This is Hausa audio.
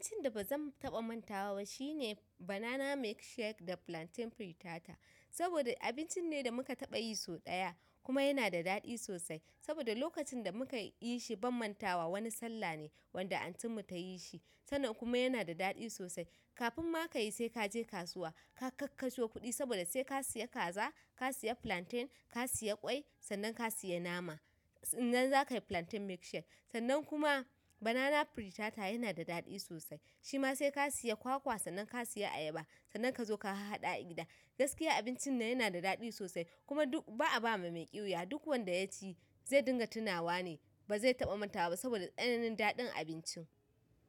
Abincin da bazan taɓa mantawa ba shine banana milk shake da plantain pretata, saboda abincin ne da muka taɓayi so ɗaya, kuma yanada daɗi sosai. Saboda lokacin da muka yi shi ban mantawa wani sallah ne wanda antin mu tayi shi sannan kuma yana da daɗi sosai. Kafin ma ka yi sai ka je kasuwa, ka kakkaso kuɗi saboda sai ka siya kaza, ka siya plantain, ka siya ƙwai, sannan ka siya nama. Sannan za ka yi plantain milk shake. Sannan kuma banana pritata yana da daɗi sosai. Shi ma sai ka siya kwakwa, sannan ka siya ayaba, sannan ka zo ka hahhaɗa a gida. Gaskiya abincin nan yana da daɗi sosai, kuma duk ba'a ba ma mai ƙiwuya. Duk wanda ya ci zai dinga tunawa ne ba zai taɓa mantawa ba saboda tsananin daɗin abincin.